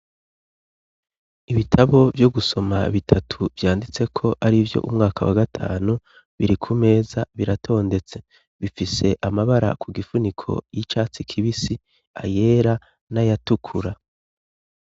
Ibitabo vyo gusoma bitatu vyanditse ko ari vyo umwaka wa gatanu biri ku meza biratondetse. Bifise amabara ku gifuniko y'icatsi kibisi, ayera, n'ayatukura.